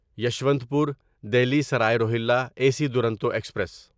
Yesvantpur Delhi Sarai Rohilla A C Duronto express